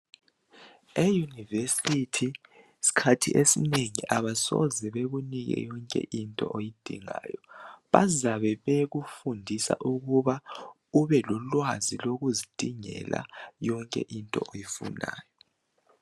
E University sikhathi esinengi abasoze bekunike yonke into oyidingayo. Bazabe bekufundisa ukuba ube lolwazi lokuzidingela yonke into oyifunayo.